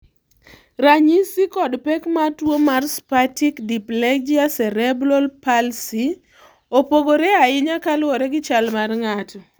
Ranyisi koda pek mar tuwo mar spastic diplegia cerebral palsy, opogore ahinya kaluwore gi chal mar ng'ato.